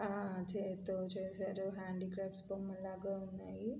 ఆ చేత్తో చేసారు. హ్యాండీ క్రాఫ్ట్స్ బొమ్మల్లాగా ఉన్నాయి.